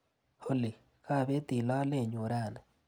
Olly, kapetii lolenyu rani.